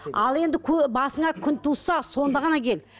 ал енді басыңа күн туса сонда ғана кел